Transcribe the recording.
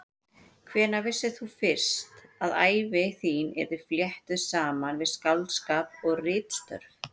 Hvenær vissir þú fyrst að ævi þín yrði fléttuð saman við skáldskap og ritstörf?